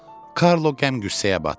Karlo qəm-qüssəyə batdı.